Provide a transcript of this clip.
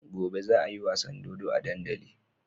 Gobe za ayi wasan dodo a dandali